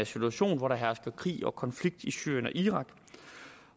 situation hvor der hersker krig og konflikt i syrien og irak